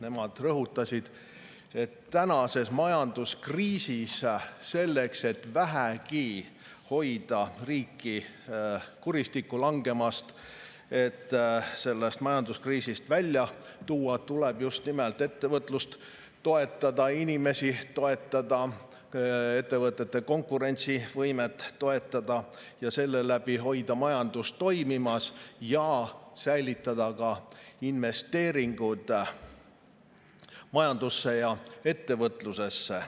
Nemad rõhutasid, et tänases majanduskriisis selleks, et vähegi hoida riiki kuristikku langemast ja et riik sellest kriisist välja tuua, tuleb just nimelt ettevõtlust toetada, inimesi toetada, ettevõtete konkurentsivõimet toetada ning seeläbi hoida majandus toimimas, säilitades ka investeeringud majandusse ja ettevõtlusesse.